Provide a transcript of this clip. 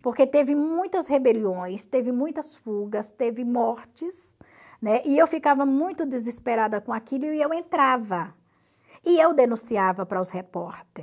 porque teve muitas rebeliões, teve muitas fugas, teve mortes, né, eu ficava muito desesperada com aquilo e eu entrava, e eu denunciava para os repórter.